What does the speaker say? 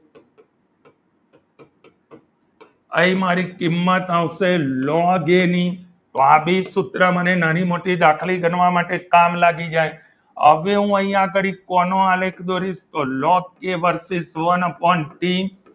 અહીં મારી કિંમત આવશેલોગ એ ની તો આવી સૂત્ર મને નાની મોટી ગણતરી કરવા માટે કામ લાગી જાય હવે હું અહીંયા આગળ કોનો આલેખ દોરીશ તો લોગ એ વર્સીસ van upon ટી